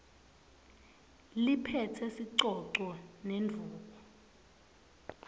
liphetse sicoco nendvuku